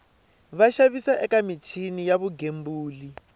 vaxavis eka michini ya vugembuli